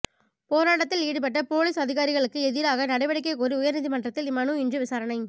போராட்டத்தில் ஈடுபட்ட போலீஸ் அதிகாரிகளுக்குஎதிராக நடவடிக்கை கோரி உயா்நீதிமன்றத்தில் மனுஇன்று விசாரணை